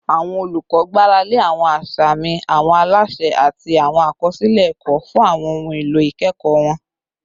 Awọn olukọ gbarale awọn asami, awọn alaṣẹ, ati awọn akọsilẹ ẹkọ fun awọn ohun elo ikẹkọ wọn